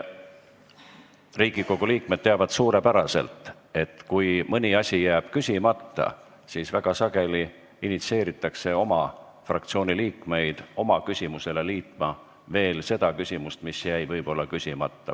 Riigikogu liikmed teavad suurepäraselt, et kui mõni asi jääb küsimata, siis väga sageli initsieeritakse oma fraktsiooni teisi liikmeid oma küsimusele liitma veel seda küsimust, mis jäi võib-olla küsimata.